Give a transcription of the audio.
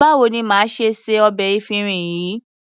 Báwo ni màá ṣe se ọbẹ̀ efinrin yìí?